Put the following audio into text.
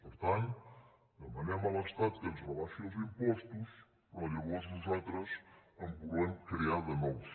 per tant demanem a l’estat que ens rebai·xi els impostos però llavors nosaltres en volem crear de nous